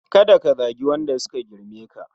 Ka da Ka zagi Wanda suka girme ka